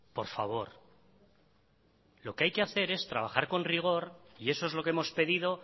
por favor lo que hay que hacer es trabajar con rigor y eso es lo que hemos pedido